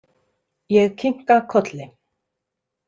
Ég kinka kolli.